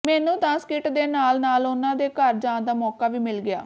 ਮੈਨੂੰ ਤਾਂ ਸਕਿੱਟ ਦੇ ਨਾਲ ਨਾਲ ਉਨ੍ਹਾਂ ਦੇ ਘਰ ਜਾਣ ਦਾ ਮੌਕਾ ਵੀ ਮਿਲ ਗਿਆ